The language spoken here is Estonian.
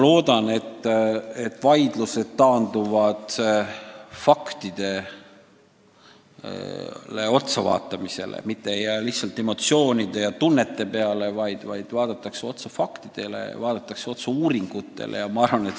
Loodan, et lõpuks taanduvad vaidlused faktidele otsavaatamisele, et ei lähtuta lihtsalt emotsioonidest, vaid vaadatakse otsa faktidele, vaadatakse otsa uuringutele.